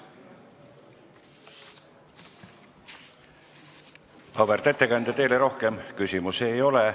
Auväärt ettekandja, teile rohkem küsimusi ei ole.